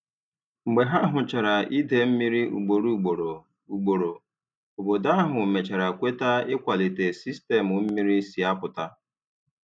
Mgbe ha hụchara idei mmiri ugboro ugboro, ugboro, obodo ahụ mechara kweta ịkwalite sistemu mmiri si apụta.